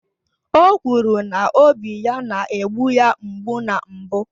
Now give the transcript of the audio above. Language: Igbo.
O kwuru na obi ya na-egbu ya mgbu na mbụ